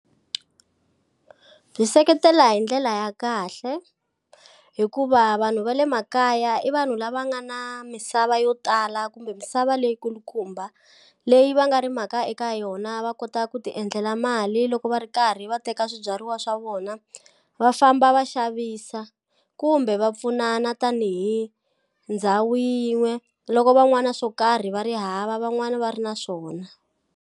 Byi seketela hi ndlela ya kahle hikuva vanhu va le makaya i vanhu lava nga na misava yo tala kumbe misava leyi kulukumba leyi va nga rimaka eka yona va kota ku ti endlela mali loko va ri karhi va teka swibyariwa swa vona va famba va xavisa kumbe va pfunana tanihi ndhawu yin'we loko van'wani swo karhi va ri hava van'wani va ri na swona.